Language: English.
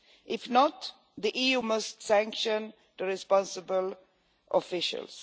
If not, the EU must sanction the responsible officials.